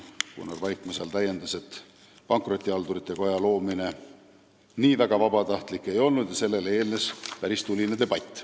Gunnar Vaikmaa täiendas, et pankrotihaldurite koja loomine nii väga vabatahtlik ei olnud, sellele eelnes päris tuline debatt.